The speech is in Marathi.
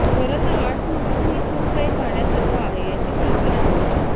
खरं तर आर्ट्समधूनही खूप काही करण्यासारखं आहे याची कल्पना होती